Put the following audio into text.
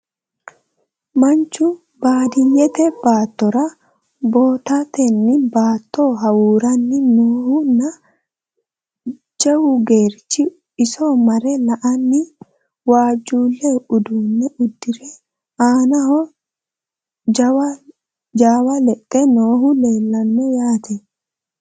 Manchu baadiyeette baattora boottatenni baatto hawuuranni noohu nna jawau geerichi iso mare la'anni, waajjule uudunne uddire, aannaho gaawe leexe noohu leelanno yaatte